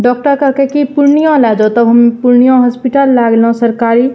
Doctor कहलके की पुर्निया ले जो तब हम पुर्निया हॉस्पिटल ले गेलौ सरकारी।